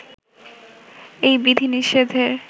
এই বিধি-নিষেধের